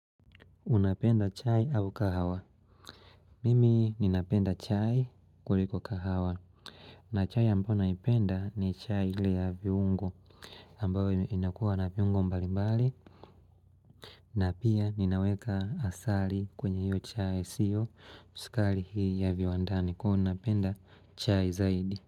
Unapenda chai au kahawa? Mimi ninapenda chai kuliko kahawa. Na chai ambayo naipenda ni chai ile ya viungo ambayo inakuwa na viungo mbali mbali. Na pia ninaweka asali kwenye hiyo chai siyo sukari hiyo ya viwandani kwa unapenda chai zaidi.